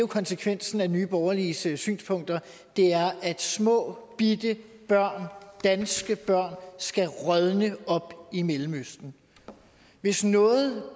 konsekvensen af nye borgerliges synspunkter er at småbitte børn danske børn skal rådne op i mellemøsten hvis noget